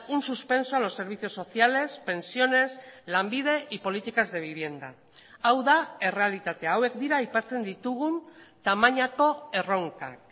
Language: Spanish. un suspenso a los servicios sociales pensiones lanbide y políticas de vivienda hau da errealitatea hauek dira aipatzen ditugun tamainako erronkak